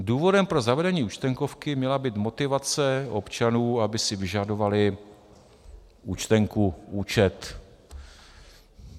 Důvodem pro zavedení Účtenkovky měla být motivace občanů, aby si vyžadovali účtenku, účet.